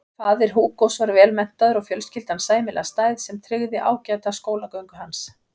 Faðir Hugos var vel menntaður og fjölskyldan sæmilega stæð sem tryggði ágæta skólagöngu hans.